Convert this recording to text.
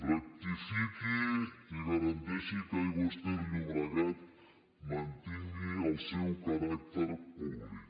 rectifiqui i garanteixi que aigües ter llobregat mantingui el seu caràcter públic